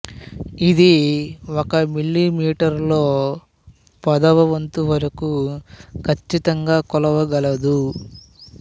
ఇది ఒక millimetre లో పదవ వంతు వరకు కచ్చితంగా కొలవగలదు